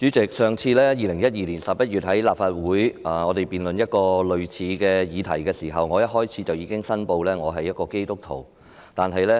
主席，我們上次在立法會辯論類似的議題是在2012年11月，我當時在發言開始時申報我是基督徒。